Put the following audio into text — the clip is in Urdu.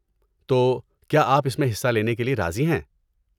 تو، کیا آپ اس میں حصہ لینے کے لیے راضی ہیں؟